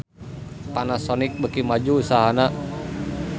Panasonic beuki maju usahana